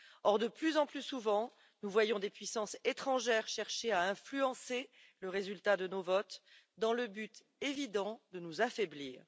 Or, de plus en plus souvent, nous voyons des puissances étrangères chercher à influencer le résultat de nos votes dans le but évident de nous affaiblir.